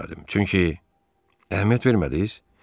Çünki əhəmiyyət vermədiniz?